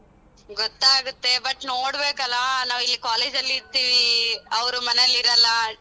ಗೊತ್ತಾಗುತ್ತೆ but ನೋಡಬೇಕಲ್ಲ ನಾವು ಇಲ್ಲಿ college ಅಲ್ಲಿ ಇರ್ತೀವಿ ಅವ್ರು ಮನೆಲ್ ಇರಲ್ಲ.